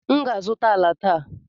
M ga-azụta ala taa.